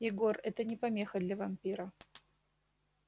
егор это не помеха для вампира